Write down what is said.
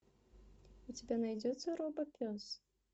у тебя найдется робопес